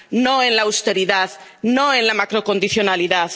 No en la austeridad, no en la macrocondicionalidad.